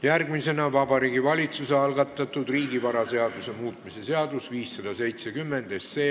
Järgmisena Vabariigi Valitsuse algatatud riigivaraseaduse muutmise seaduse eelnõu 570.